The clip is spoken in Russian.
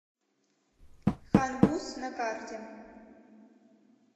хан буз на карте